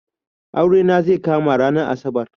Aure na zai kama ranar asabar